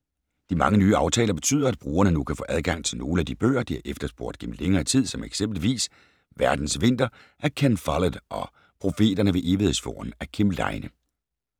De mange nye aftaler betyder, at brugerne nu kan få adgang til nogle af de bøger, de har efterspurgt gennem længere tid som eksempelvis Verdens vinter af Ken Follett og Profeterne ved Evighedsfjorden af Kim Leine.